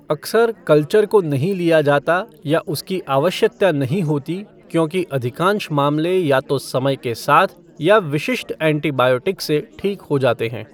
अक्सर कल्चर को नहीं लिया जाता या उसकी आवश्यकता नहीं होती क्योंकि अधिकांश मामले या तो समय के साथ या विशिष्ट एंटीबायोटिक्स से ठीक हो जाते हैं।